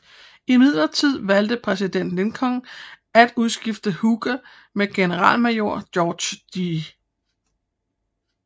Imidlertid valgte præsident Lincoln at udskifte Hooker med generalmajor George G